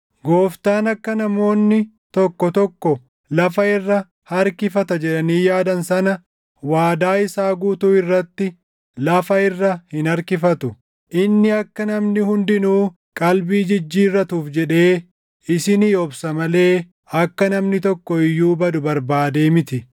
Gooftaan akka namoonni tokko tokko lafa irra harkifata jedhanii yaadan sana, waadaa isaa guutuu irratti lafa irra hin harkifatu. Inni akka namni hundinuu qalbii jijjiirrachuuf jedhee isinii obsa malee akka namni tokko iyyuu badu barbaadee miti.